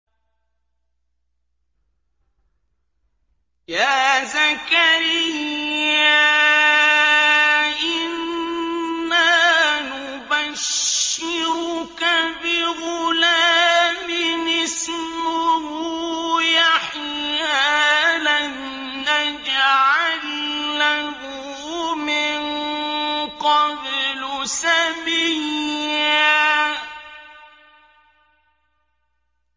يَا زَكَرِيَّا إِنَّا نُبَشِّرُكَ بِغُلَامٍ اسْمُهُ يَحْيَىٰ لَمْ نَجْعَل لَّهُ مِن قَبْلُ سَمِيًّا